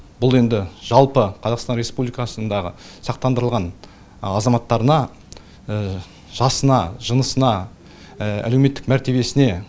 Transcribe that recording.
бұл енді жалпы қазақстан республикасындағы сақтандырылған азаматтарына жасына жынысына әлеуметтік мәртебесіне